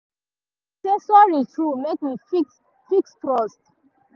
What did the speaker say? i say sorry true make we fit fix trust